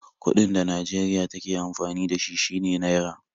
Kuɗin da Najeriya take amfani da shi shine Naira